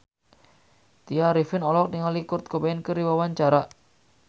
Tya Arifin olohok ningali Kurt Cobain keur diwawancara